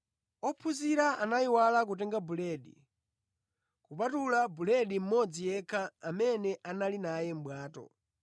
Ophunzira anayiwala kutenga buledi, kupatula buledi mmodzi yekha amene anali naye mʼbwato.